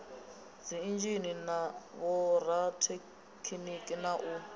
dziinzhinia na vhorathekhiniki na u